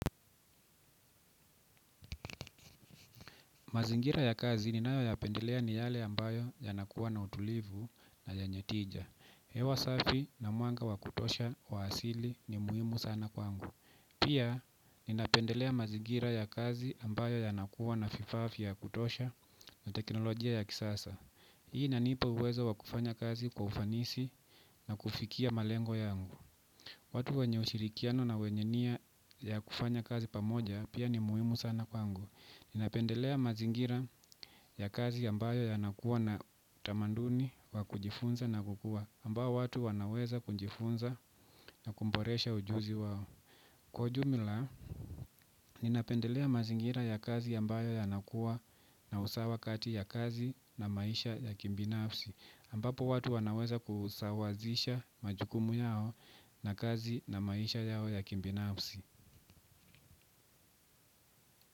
Mazingira ya kazi ninayoyapendelea ni yale ambayo yanakuwa na utulivu na yenye tija. Hewa safi na mwanga wa kutosha wa hasili ni muhimu sana kwangu. Pia, ninapendelea mazingira ya kazi ambayo yanakuwa na fifafi ya kutosha na teknolojia ya kisasa. Hii inanipa uwezo wa kufanya kazi kwa ufanisi na kufikia malengo yangu. Watu wenye ushirikiano na wenye nia ya kufanya kazi pamoja pia ni muhimu sana kwangu. Ninapendelea mazingira ya kazi ambayo yanakuwa na utamaduni wa kujifunza na kukua ambao watu wanaweza kujifunza na kumboresha ujuzi wao. Kwa ujumla, ninapendelea mazingira ya kazi ambayo yanakuwa na usawa kati ya kazi na maisha ya kibinafsi ambapo watu wanaweza kusawazisha majukumu yao na kazi na maisha yao ya kibinafsi.